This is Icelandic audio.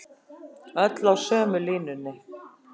Öll á sömu línunni